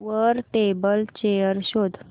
वर table chair शोध